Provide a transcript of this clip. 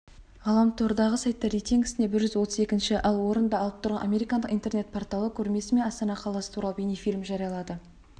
ғаламтордағы сайттар рейтингісінде бір жүз отыз екінші ал орынды алып отырған американдық интернет порталы көрмесі мен астана қаласы туралы бейнефильм жариялады